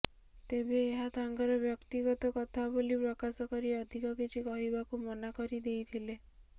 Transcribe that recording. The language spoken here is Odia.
ତେବେ ଏହା ତାଙ୍କର ବ୍ୟକ୍ତିଗତ କଥା ବୋଲି ପ୍ରକାଶ କରି ଅଧିକ କିଛି କହିବାକୁ ମନା କରି ଦେଇଥିଲେ